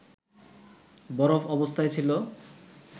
বরফ অবস্থায় ছিল